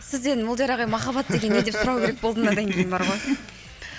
сізден молдияр ағай махаббат деген не деп сұрау керек болды мынадан кейін бар ғой